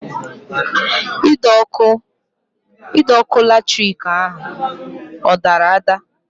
Ide ọkụ latrik ahụ ọ dara ada?